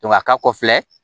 a ka kɔ filɛ